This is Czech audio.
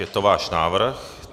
Je to váš návrh.